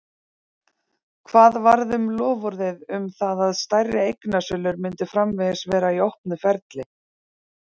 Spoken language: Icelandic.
Hvað varð um loforðið um það að stærri eignasölur myndu framvegis vera í opnu ferli?